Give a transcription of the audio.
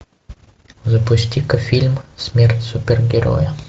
запусти ка фильм смерть супергероя